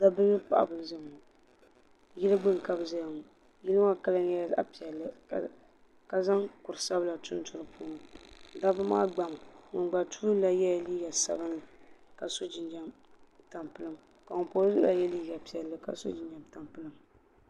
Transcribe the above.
Dabba mini paɣaba n zaya ŋɔ yili gbini ka bɛ zaya ŋɔ yili maa kala nyɛla zaɣa piɛlli ka zaŋ kurisabila tuntu dipuuni dabba maa gbami ŋun gba tuuli maa yela liiga sabinli ka so jinjiɛm tampilim ka ŋun pa o zuɣu maa ye liiga ka so jinjiɛm tampilim.